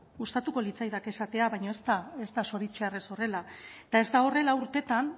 gustatuko litzaidake esatea baina ez da ez da zoritxarrez horrela eta ez da horrela urtetan